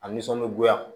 A nisɔndiyagoya